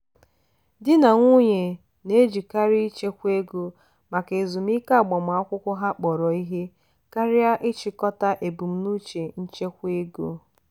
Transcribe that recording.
di na nwunye na-ejikarị ịchekwa ego maka ezumike agbamakwụkwọ ha akpọrọ ihe karịa ịchịkọta ebumnuche nchekwa ego.